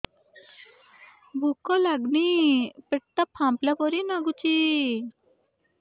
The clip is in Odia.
ଭୁକ ଲାଗୁନି ପେଟ ଟା ଫାମ୍ପିଲା ପରି ନାଗୁଚି